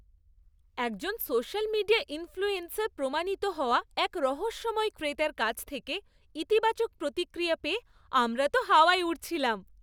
একজন social media influencer প্রমাণিত হওয়া এক রহস্যময় ক্রেতার কাছ থেকে ইতিবাচক প্রতিক্রিয়া পেয়ে আমরা তো হাওয়ায় উড়ছিলাম।